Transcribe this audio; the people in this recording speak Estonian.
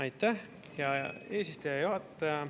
Aitäh, hea eesistuja!